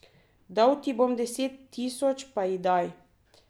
Dal ti bom deset tisoč, pa ji daj.